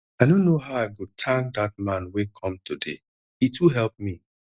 i no know how i go thank dat man wey come today he too help me.